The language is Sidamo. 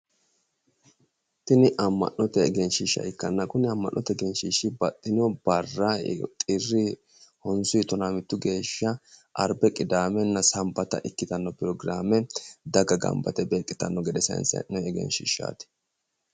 Tini amma'note egenshiishsha ikkanna, kuni amma'note egenshiishshi baxxino barra xirri 9-11 geeshsha arbbe kidaamena sanbata ikkitanno pirogiraame daga gambba yite beeqitanno gede saayinssanni egenshiishaati.